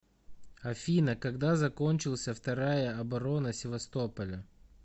афина когда закончился вторая оборона севастополя